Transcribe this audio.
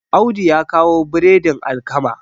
Audu ya kawo biredin alkama